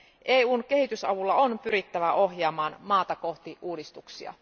EUn kehitysavulla on pyrittävä ohjaamaan maata kohti uudistuksia.